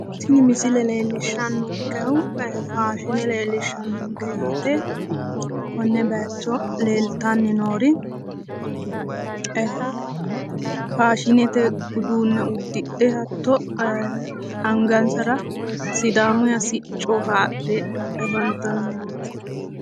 Tini misilete leellishannonkehu faashine leellishshannonke yaate konne baayiicho leeltanni noori faashinete uduunne uddidhe angansara sidaammuyiiha sicco haadhe afantannoreeti.